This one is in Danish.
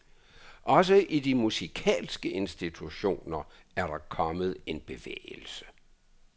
Også i de musikalske institutioner er der kommet en bevægelse.